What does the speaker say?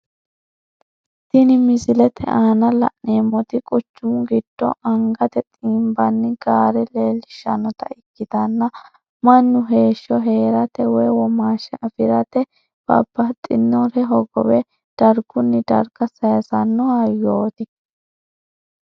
Tinni misilete aanna la'neemoti quchumu gido angate xiinbanni gaare leelishanota ikitanna Manu heesho heerate woyi womaasha afirate babbaxinore hogowe dargunni darga sayisano hayooti